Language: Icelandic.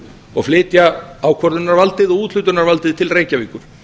og flytja ákvörðunar og úthlutunarvaldið til reykjavíkur